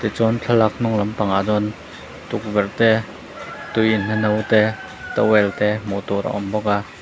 chuan thlalak hnung lampang ah chuan tukverh te tui inna no te towel te hmuh tur a awm bawk a.